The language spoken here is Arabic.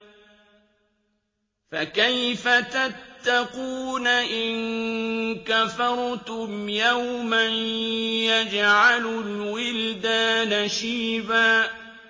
فَكَيْفَ تَتَّقُونَ إِن كَفَرْتُمْ يَوْمًا يَجْعَلُ الْوِلْدَانَ شِيبًا